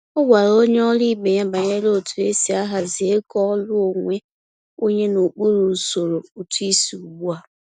O gwara onye ọrụ ibe ya banyere otu esi ahazi ego ọrụ onwe onye n’okpuru usoro ụtụisi ugbu a.